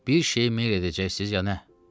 Bir şeyi meyl edəcəksiniz ya nə?